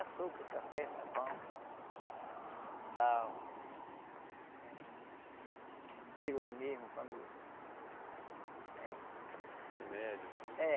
Açúcar, café, sabão, sal, pílula mesmo, quando eh... Remédio, assim? É